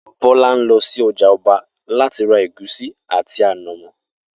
Bó̩lá ń lo̩ sí o̩jà o̩ba láti ra ègúsí àti ànàmó̩